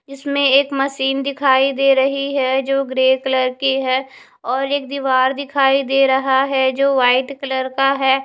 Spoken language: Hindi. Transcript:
इसमें एक मशीन दिखाई दे रही है जो ग्रे कलर की है और एक दिवार दिखाई दे रहा है जो वाइट कलर का है।